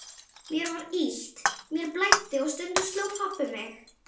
Mér var illt, mér blæddi og stundum sló pabbi mig.